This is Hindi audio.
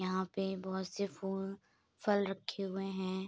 यहाँ पे बहोत से फूल फल रखे हुए हैं।